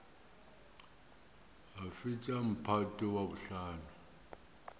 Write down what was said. a fetša mphato wa bohlano